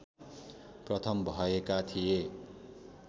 प्रथम भएका थिए